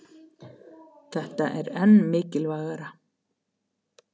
Þetta er enn mikilvægara